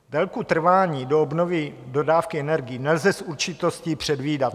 Délku trvání do obnovy dodávky energií nelze s určitostí předvídat.